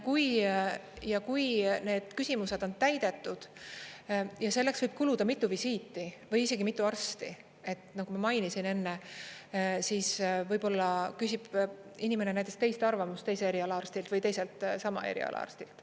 Ja kui need küsimused on täidetud, ja selleks võib kuluda mitu visiiti või isegi mitu arsti, nagu ma mainisin enne, siis võib-olla küsib inimene näiteks teiste arvamust, teise eriala arstilt või teiselt sama eriala arstilt.